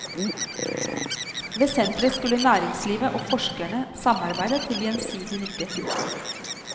Ved senteret skulle næringslivet og forskerne samarbeide til gjensidig nytte.